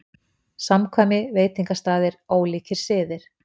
SAMKVÆMI, VEITINGASTAÐIR, ÓLÍKIR SIÐIR